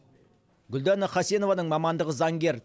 гүлдана хасенованың мамандығы заңгер